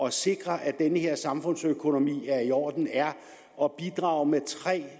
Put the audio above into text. at sikre at den her samfundsøkonomi er i orden er at bidrage med